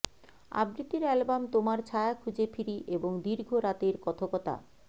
আবৃত্তির অ্যালবাম তোমার ছায়া খুঁজে ফিরি এবং দীর্ঘ রাতের কথকতা